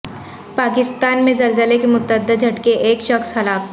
پاکستان میں زلزلے کے متعدد جھٹکے ایک شخص ہلاک